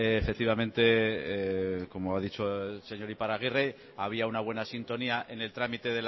efectivamente como ha dicho el señor iparragirre había una buena sintonía en el trámite